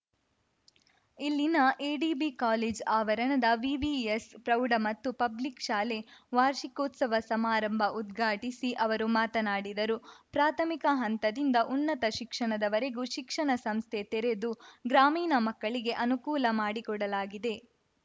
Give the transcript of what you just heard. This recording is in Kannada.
ಇಲ್ಲಿನ ಎಡಿಬಿ ಕಾಲೇಜು ಆವರಣದ ವಿವಿಎಸ್‌ ಪ್ರೌಢ ಮತ್ತು ಪಬ್ಲಿಕ್‌ ಶಾಲೆ ವಾರ್ಷಿಕೋತ್ಸವ ಸಮಾರಂಭ ಉದ್ಘಾಟಿಸಿ ಅವರು ಮಾತನಾಡಿದರು ಪ್ರಾಥಮಿಕ ಹಂತದಿಂದ ಉನ್ನತ ಶಿಕ್ಷಣದವರೆಗೂ ಶಿಕ್ಷಣ ಸಂಸ್ಥೆ ತೆರೆದು ಗ್ರಾಮೀಣ ಮಕ್ಕಳಿಗೆ ಅನುಕೂಲ ಮಾಡಿಕೊಡಲಾಗಿದೆ